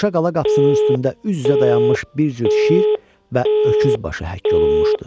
Qoşa qala qapısının üstündə üz-üzə dayanmış bir cüt şir və öküz başı həkk olunmuşdu.